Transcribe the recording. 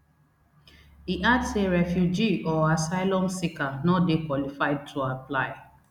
e add say refugee or asylum seeker no dey qualified to apply